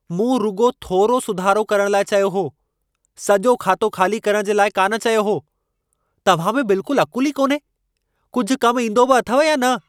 मूं रुॻो थोरो सुधारो करण लाइ चयो हो, सॼो खातो ख़ाली करणु जे लाइ कान चयो हो। तव्हां में बिल्कुल अक़ुलु ई कोन्हे। कुझु कम ईंदो बि अथव या न?